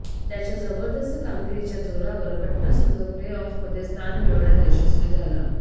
त्याच्या जबरदस्त कामगिरीच्या जोरावर पटणा संघ प्ले ऑफमध्ये स्थान मिळवण्यात यशस्वी झाला